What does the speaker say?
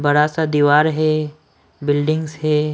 बरा सा दीवार है बिल्डिंग्स है।